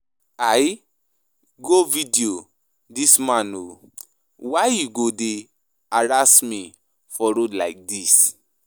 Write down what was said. I go video dis man oo, why you go dey harass me for road like dis.